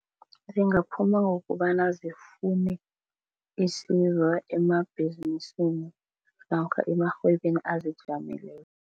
Zingaphuma ngokobana zifune isizo emabhizinisi namkha emarhwebeni azijameleko.